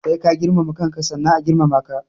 Sai ka girmama kanka sannan a girmama ka.